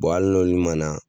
hali n'olu man na